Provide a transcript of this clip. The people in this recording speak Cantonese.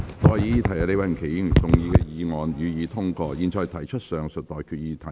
我現在向各位提出上述待決議題。